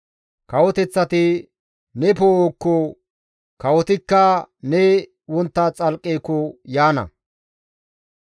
Kawoteththati ne poo7okko, kawotikka ne wontta xalqqeko yaana.